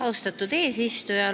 Austatud eesistuja!